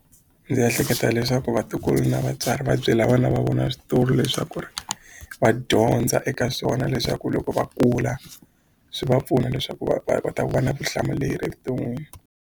Ndzi ehleketa leswaku vatukulu na vatswari va byela vana va vona switori leswaku ri va dyondza eka swona leswaku loko va kula swi va pfuna leswaku va kota ku va na vutihlamuleri evuton'wini.